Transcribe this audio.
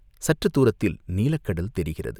சற்றுத் தூரத்தில் நீலக்கடல் தெரிகிறது.